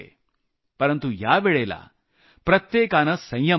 परंतु यावेळेला प्रत्येकानं संयम बाळगला